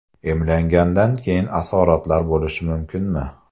Emlangandan keyin asoratlar bo‘lishi mumkinmi?